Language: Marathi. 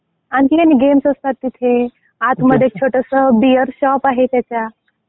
आणखी काही गेम्स असतात तिथे आत मध्ये छोटसं बिअर शॉप आहे त्याच्या.